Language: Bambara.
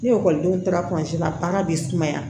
Ni ekɔlidenw taara la baara bi sumaya